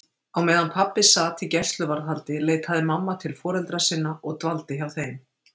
Á meðan pabbi sat í gæsluvarðhaldi leitaði mamma til foreldra sinna og dvaldi hjá þeim.